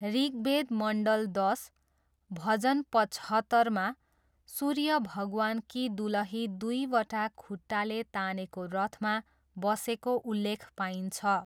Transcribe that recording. ऋग्वेद मण्डल दस, भजन पचहत्तरमा, सूर्य भगवानकी दुलही दुईवटा खुट्टाले तानेको रथमा बसेको उल्लेख पाइन्छ।